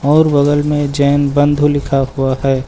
और बगल में जैन बंधु लिखा हुआ है।